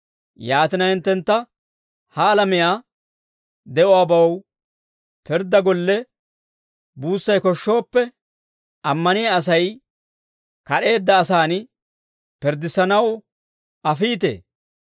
Yaatina, hinttentta ha alamiyaa de'uwaabaw pirddaa golle buussay koshshooppe, ammaniyaa Asay kad'eedda asaan pirddissanaw afiitee?